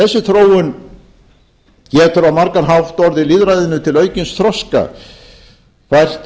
á margan hátt orðið lýðræðinu til aukins þroska fært